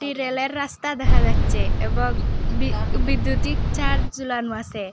রেলের রাস্তা দেখা যাচ্ছে এবং বি বিদ্যুতিক চার জুলানো আসে।